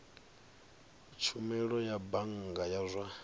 tshumelo ya bannga ya zwa